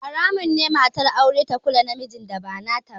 Haramun ne matar aure ta kula mijin da ba nata ba